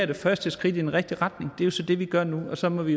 det første skridt i den rigtige retning og det er jo så det vi gør nu og så må vi